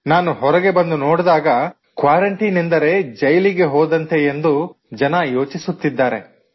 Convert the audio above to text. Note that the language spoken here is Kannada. ನಾನು ಹೊರಗೆ ಬಂದು ನೋಡಿದಾಗ ಕ್ವಾರಂಟೈನ್ ಎಂದರೆ ಜೈಲಿಗೆ ಹೋದಂತೆ ಎಂದು ಜನರು ಯೋಚಿಸುತ್ತಿದ್ದಾರೆ